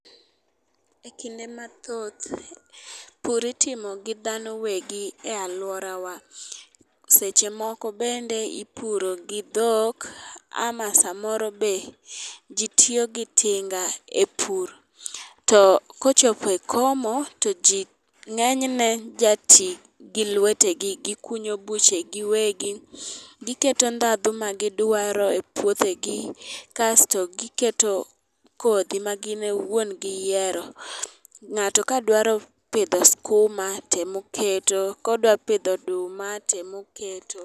E kinde mathoth pur itimo gi dhano wegi e aluorawa. Seche moko bende ipuro gi dhok ama samoro be jii tiyo gi tinga e pur. To kochope komo to jii ng'enyne ja tii gi lwetegi gikunyo buche gi wegi giketo ndhadhu ma gidwaro e pouothegi, kasto giketo kodhi ma gin iwuon giyiero . Ng'ato ka dwa pidho skuma temoketo kodwa pidho oduma temo keto.